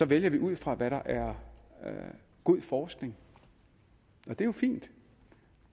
vælger ud fra hvad der er god forskning det er jo fint